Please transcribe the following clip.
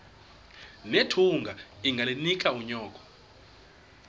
nethunga ungalinik unyoko